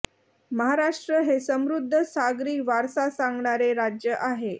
महाराष्ट्र हे समृद्ध सागरी वारसा सांगणारे राज्य आहे